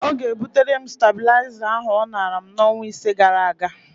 Ọ ga-ebutere m stabịlaịza ahụ ọ nara m n'ọnwa ise gara aga.